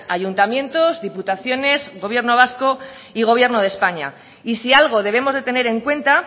ayuntamientos diputaciones gobierno vasco y gobierno de españa y si algo debemos de tener en cuenta